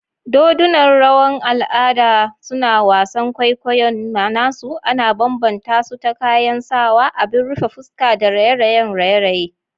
Dodunan rawan al'ada, suna wasan kwaikwayon nasu ana bambanta su ta kayan sawa, abin rufe fuska, da raye-rayen raye-raye.